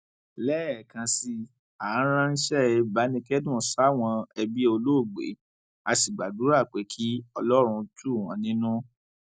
lẹẹkan sí i á ránṣẹ ìbánikẹdùn sáwọn ẹbí olóògbé á sì gbàdúrà pé kí ọlọrun tù wọn nínú